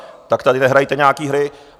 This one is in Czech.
Tak tady nehrajte nějaké hry.